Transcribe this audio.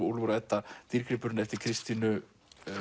Úlfur og Edda dýrgripurinn eftir Kristínu